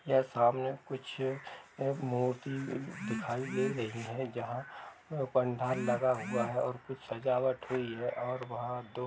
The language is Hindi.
यह सामने कुछ मूर्ति दिखाई दे रही है। जहाँ पंडाल लगा हुआ है और कुछ सजावट हुई है और वहाँ दो --